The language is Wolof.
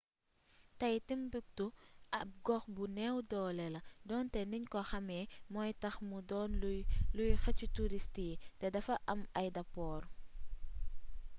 tey timbuktu ab gox bu neew doole la donte niñ ko xàmee mooy tax mu doon luy xëcc turist yi te dafa am aydapoor